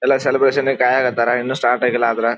ಎಲ್ಲ ಸೆಲೆಬ್ರೇಶನ್ ಗೆ ತಯಾರಾಗ್ತಾರೆ ಇನ್ನು ಸ್ಟಾರ್ಟ್ ಆಗಿಲ್ಲ ಆದರೆ.